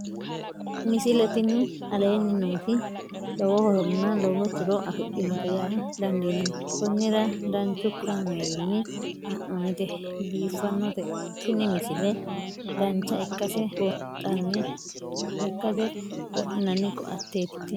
misile tini aleenni nooti lowo horonna lowo tiro afidhinote yaa dandiinanni konnira danchu kaameerinni haa'noonnite biiffannote tini misile dancha ikkase buunxanni lekkate wodhinanni koateeti tini